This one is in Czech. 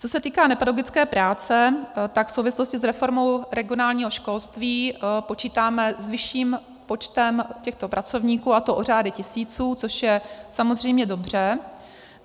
Co se týká nepedagogické práce, tak v souvislosti s reformou regionálního školství počítáme s vyšším počtem těchto pracovníků, a to o řády tisíců, což je samozřejmě dobře.